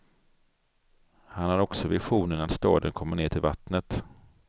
Han har också visionen att staden kommer ner till vattnet.